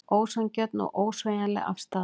Ósanngjörn og ósveigjanleg afstaða